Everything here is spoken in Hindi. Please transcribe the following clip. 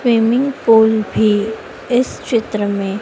स्विमिंग पूल भी इस चित्र में --